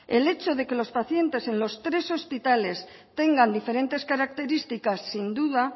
el hecho de que los pacientes en los tres hospitales tengan diferentes características sin duda